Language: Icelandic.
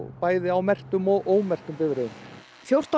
bæði á merktum og ómerktum bifreiðum fjórtán